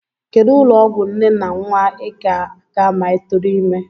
Kedụ ụlọọgwụ nne na nnwa I ga-aga ma ị tụrụ ime?